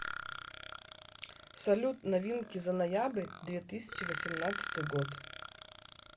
салют новинки за ноябрь две тысячи восемнадцатый год